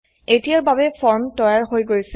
এতিয়াৰ বাবে ফৰ্ম তৈয়াৰ হৈ গৈছে